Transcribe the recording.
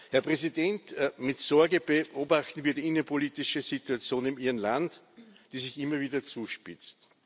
Herr Präsident, mit Sorge beobachten wir die innenpolitische Situation in Ihrem Land, die sich immer wieder zuspitzt.